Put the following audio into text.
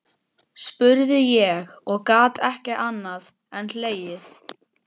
spurði ég og gat ekki annað en hlegið.